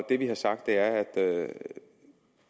det vi har sagt er at